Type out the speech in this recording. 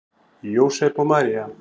Jósep og María